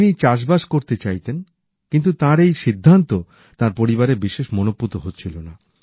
তিনি চাষবাস করতে চাইতেন কিন্তু তাঁর এই সিদ্ধান্ত তাঁর পরিবারের বিশেষ মনঃপুত হচ্ছিল না